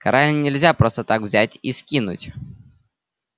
короля нельзя просто так взять и скинуть